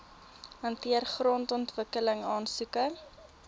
hanteer grondontwikkeling aansoeke